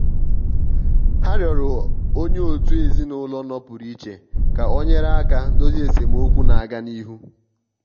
ha rịọrọ onye otu ezinụlọ nọpụrụ iche ka o nyere aka dozie esemokwu na-aga n'ihu.